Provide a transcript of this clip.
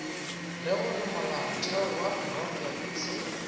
le gore molaotheo wa profense